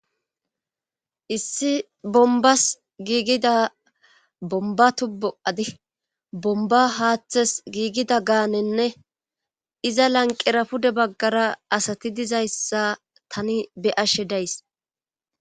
issi bombas giigida bomba tubu7adi bomba haaththes giigida gaanenne iza lanqera pude baggara asati dizayssa tani be ashe days